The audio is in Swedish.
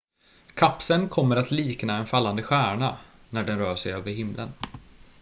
kapseln kommer att likna en fallande stjärna när den rör sig över himlen